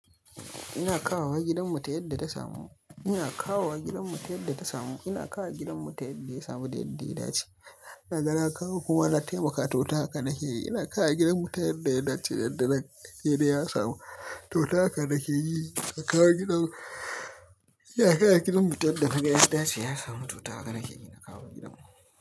Ina kawowa gidanmu ta yadda ta samu. Ina kawo wa gidanmu ta yadda ta samu. Ina kawo gidanmu ta yadda ya samu da yadda ya dace. Ina ga na kawo kuma na taimaka to ta haka nake ina kawo gidanmu ta yadda ya dace da yadda yake ya samu to ta haka nake yi. Ina kawo gidanmu. Ina kawo gidanmu ta yadda naga ya dace ya samu to ta haka nake yi. Ina kawo gidanmu.